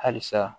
Halisa